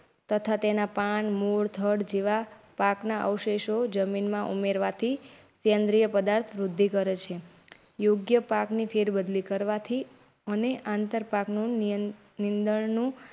તથા તેના પાનમૂડ થડ જેવા પાકના અવશેષો જમીનમાં ઉમેરવાથી કેન્દ્રય પદાર્થ વૃદ્ધિ કરેં છે. યોગ્ય પાકની ફેરબદલી કરવાથી અને આંતરપાક .